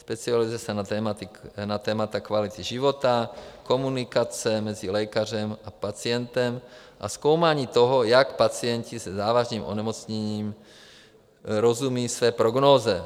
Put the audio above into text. Specializuje se na témata kvality života, komunikace mezi lékařem a pacientem a zkoumání toho, jak pacienti se závažným onemocněním rozumí své prognóze.